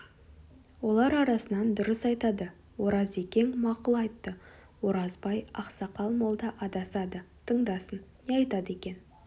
олар арасынан дұрыс айтады оразекең мақұл айтты оразбай ақсақал молда адасады тыңдасын не айтады екен